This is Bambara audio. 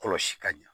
Kɔlɔsi ka ɲɛ